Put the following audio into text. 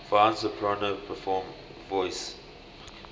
fine soprano voice